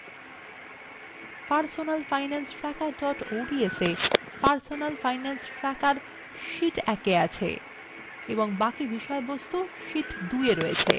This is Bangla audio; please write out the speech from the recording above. personalfinancetracker ods A